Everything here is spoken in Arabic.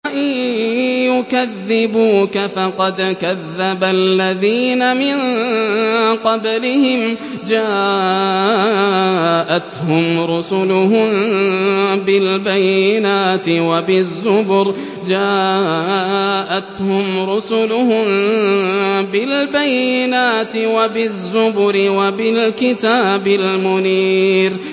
وَإِن يُكَذِّبُوكَ فَقَدْ كَذَّبَ الَّذِينَ مِن قَبْلِهِمْ جَاءَتْهُمْ رُسُلُهُم بِالْبَيِّنَاتِ وَبِالزُّبُرِ وَبِالْكِتَابِ الْمُنِيرِ